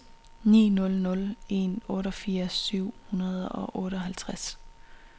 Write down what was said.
ni nul nul en otteogfirs syv hundrede og otteoghalvtreds